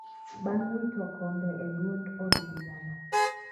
bang' wito kombe e duond od burano